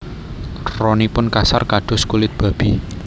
Ronipun kasar kados kulit babi